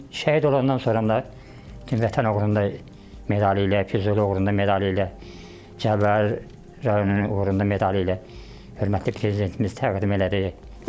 Şəhid olandan sonra da Vətən uğrunda medali ilə, Füzuli uğrunda medali ilə, Cəbrayıl rayonunun uğrunda medali ilə hörmətli prezidentimiz təqdim elədi.